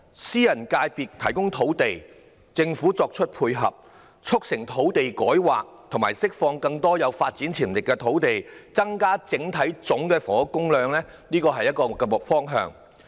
私人界別提供土地，政府作出配合，促成土地改劃及釋放更多有發展潛力的土地，增加整體房屋供應，這是一個可行方向。